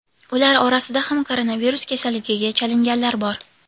Ular orasida ham koronavirus kasalligiga chalinganlar bor.